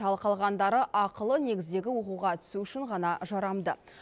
ал қалғандары ақылы негіздегі оқуға түсу үшін ғана жарамды